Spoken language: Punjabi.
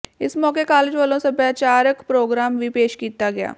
ਇਸ ਮੌਕੇ ਕਾਲਜ ਵੱਲੋਂ ਸੱਭਿਆਚਾਰਕ ਪ੍ਰੋਗਰਾਮ ਵੀ ਪੇਸ਼ ਕੀਤਾ ਗਿਆ